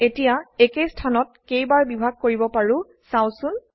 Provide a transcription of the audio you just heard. এতিয়া একেই স্থানত কেইবাৰ বিভাগ কৰিব পাৰো চাওচোন